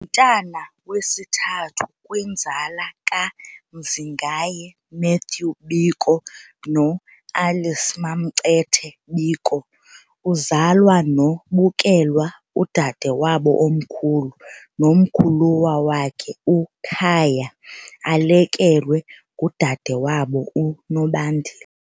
mntana wesithathu kwinzala kaMzingaye Matthew Biko noAlice MamCethe Biko, uzalwa noBukelwa udade wabo omkhulu nomkhulwa wakhe uKhaya, alekelwe ngudade wabo uNobandile.